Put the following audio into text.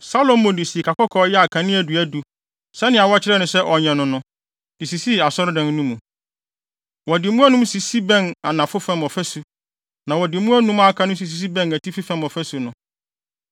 Salomo de sikakɔkɔɔ yɛɛ akaneadua du, sɛnea wɔkyerɛɛ no sɛ ɔnyɛ no no, de sisii Asɔredan no mu. Wɔde mu anum sisi bɛn anafo fam ɔfasu, na wɔde mu anum a aka no nso sisi bɛn atifi fam ɔfasu no.